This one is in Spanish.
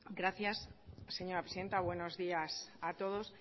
gracias señora presidenta buenos días a todos